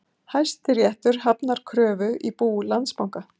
Hæstiréttur hafnar kröfu í bú Landsbanka